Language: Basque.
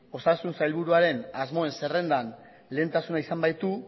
osasun sailburuaren asmoen zerrendan lehentasuna izan baitu